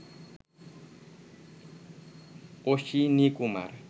Ashwinikumar